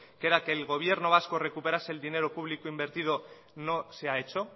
que era que el gobierno vasco recuperase el dinero público invertido no se ha hecho